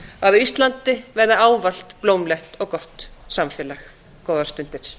á íslandi verði ávallt blómlegt og gott samfélag góðar stundir